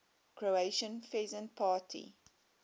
croatian peasant party